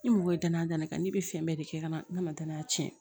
Ni mɔgɔ ye danaya dan ne kan ne bɛ fɛn bɛɛ de kɛ ka na ne ma danaya tiɲɛ